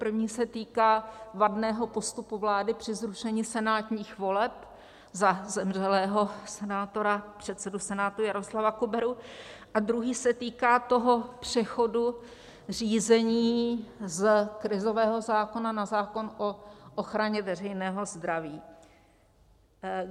První se týká vadného postupu vlády při zrušení senátních voleb za zemřelého senátora, předsedu Senátu Jaroslava Kuberu, a druhý se týká toho přechodu řízení z krizového zákona na zákon o ochraně veřejného zdraví.